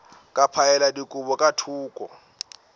ka phaela dikobo ka thoko